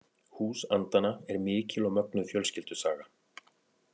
Hús andanna er mikil og mögnuð fjölskyldusaga.